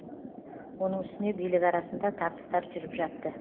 оның үстіне билік арасында тартыстар жүріп жатты